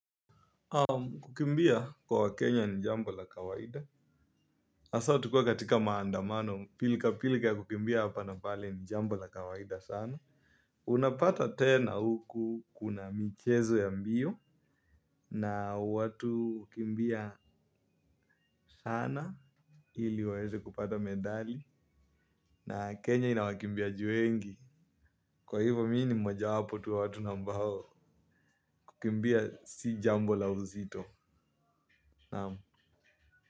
Kukimbia kwa wakenya ni jambo la kawaida. Asa tukiwa katika maandamano pilka pilka ya kukimbia hapa na pale ni jambo la kawaida sana. Unapata tena huku kuna michezo ya mbio na watu hukimbia sana ili waeze kupata medali na kenya ina wakimbiaji wengi kwa hivyo mii ni moja wapo tu wa watu na ambao kukimbia si jambo la uzito, naam.